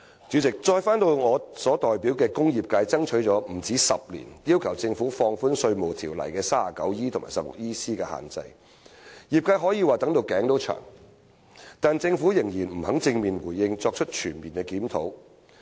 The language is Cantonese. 主席，我代表的工業界爭取了不止10年，要求政府放寬《稅務條例》第 39E 條及第 16EC 條的限制，業界可以說是"等到頸也長了"，但政府仍然不肯正面回應或作出全面檢討。